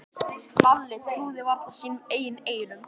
Lalli trúði varla sínum eigin eyrum.